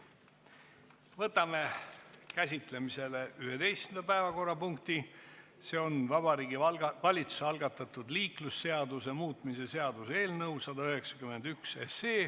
Võtame käsitlemisele 11. päevakorrapunkti, Vabariigi Valitsuse algatatud liiklusseaduse muutmise seaduse eelnõu 191.